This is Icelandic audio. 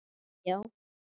Niðri já.